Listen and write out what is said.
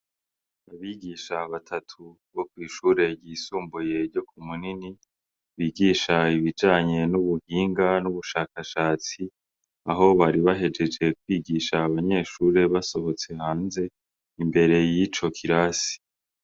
Abigisha batatu bo kw'ishure ryisumbuye ryo ku Umunini bigisha ibijanye n'ubuhinga n'ubushakashatsi aho bari bahejeje kwigisha abanyeshure basohotse hanze imbere yico kirasi.